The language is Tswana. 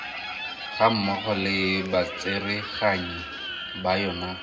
gammogo le batsereganyi ba yona